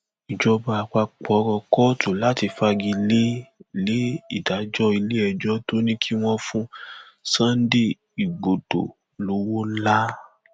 ìjọba àpapọ rọ kóòtù láti fagi lé lé ìdájọ iléẹjọ tó ní kí wọn fún sunday igbodò lọwọ ńlá